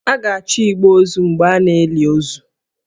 A ga-achọ igbe ozu mgbe a na-eli ozu